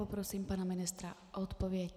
Poprosím pana ministra o odpověď.